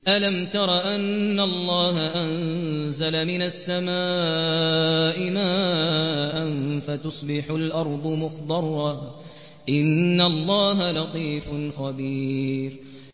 أَلَمْ تَرَ أَنَّ اللَّهَ أَنزَلَ مِنَ السَّمَاءِ مَاءً فَتُصْبِحُ الْأَرْضُ مُخْضَرَّةً ۗ إِنَّ اللَّهَ لَطِيفٌ خَبِيرٌ